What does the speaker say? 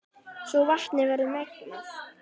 svo vatnið verður mengað.